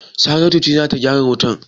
Saratu ce za ta gyara wutan?